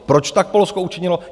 Proč tak Polsko učinilo?